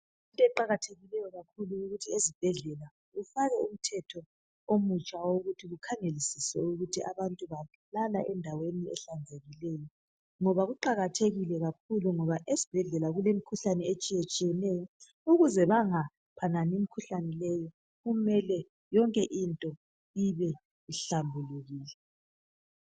Into eqakathekile kakhulu yikuthi ezibhedlela kufakwe umthetho omutsha wokuthi kukhangelisiswe ukuthi abantu balala endaweni ehlanzekileyo ngoba kuqakathekile kakhulu ngoba esibhedlela kulemikhuhlane etshiyetshiyeneyo ukuze bangaphanani imikhuhlane leyi kumele yonke into one ihlambulukile